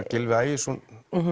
Gylfi Ægisson